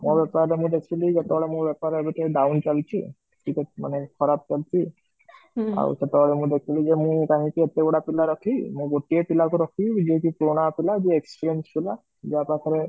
ମୋ ବେପାର ରେ ମୁଁ ଦେଖିଲି ଯେତେବେଳେ ମୋ ବେପାର ଏବେ ଟିକ down ଚାଲିଛି ଟିକେ ମାନେ ଖରାପ ଚାଲିଛି ଆଉ କେତବେଳେ ମୁଁ ଦେଖିଲି ଯେ ମୁଁ କାହିଁକି ଏତେ ଗୁଡ଼େ ପିଲାଙ୍କୁ ରଖିବି, ମୁଁ ଗୋଟେ ପିଲାକୁ ରଖିବି ଯିଏ କି ପୁରୁଣା ପିଲା ଯିଏ କି experienced ପିଲା ଯାହା ପାଖରେ